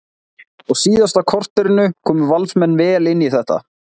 Á síðasta korterinu komu Valsmenn vel inn í þetta.